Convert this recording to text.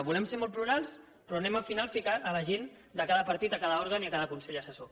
volem ser molt plurals però anem al final a ficar la gent de cada partit a cada òrgan i a cada consell assessor